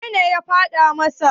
wanene ya faɗa masa?